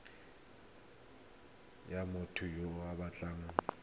ya motho yo o batlang